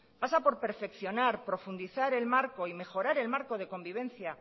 pasa por perfeccionar profundizar el marco y mejorar el marco de convivencia